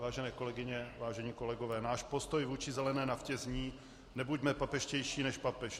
Vážené kolegyně, vážení kolegové, náš postoj vůči zelené naftě zní - nebuďme papežštější než papež.